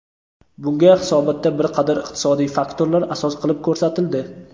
Bunga hisobotda bir qator iqtisodiy faktorlar asos qilib ko‘rsatildi.